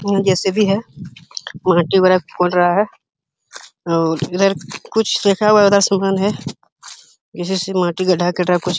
जे C B है। माटी वागेरह खोद रहा है और इधर कुछ लिखा हुआ है। उधर है। जिस कुछ --